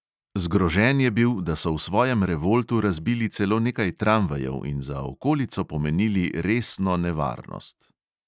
Zgrožen je bil, da so v svojem revoltu razbili celo nekaj tramvajev in za okolico pomenili resno nevarnost.